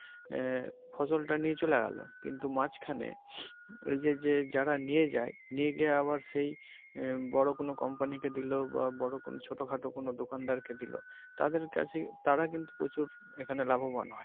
আহ ফসল টা নিয়ে চলে গেলো কিন্তু মাঝখানে ওই যে যারা নিয়ে যায় নিয়ে গিয়ে আবার সেই আহ বড় কোন company কে দিলো বা বড় কোন ছোট খাটো কোন দোকনাদার কে তাদের কাছে তারা কিন্তু প্রচুর এখানে লাভবান হয়।